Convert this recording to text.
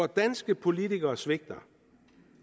danske politikere svigter